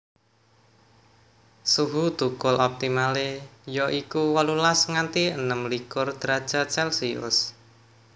Suhu thukul optimale ya iku wolulas nganti enem likur derajat celsius